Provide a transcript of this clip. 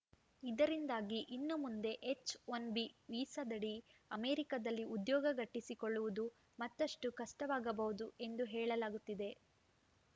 ಇದರಿಂದಾಗಿ ಇನ್ನು ಮುಂದೆ ಎಚ್‌ಒನ್ ಬಿ ವೀಸಾದಡಿ ಅಮೆರಿಕದಲ್ಲಿ ಉದ್ಯೋಗ ಗಟ್ಟಿಸಿಕೊಳ್ಳುವುದು ಮತ್ತಷ್ಟುಕಷ್ಟವಾಗಬಹುದು ಎಂದು ಹೇಳಲಾಗುತ್ತಿದೆ